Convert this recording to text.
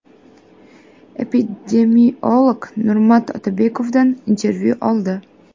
epidemiolog Nurmat Otabekovdan intervyu oldi.